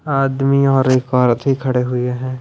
आदमी और एक औरत भी खड़े हुए हैं।